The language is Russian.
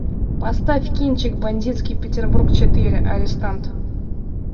поставь кинчик бандитский петербург четыре арестант